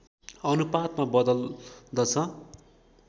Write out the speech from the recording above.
अनुपातमा बदल्दछ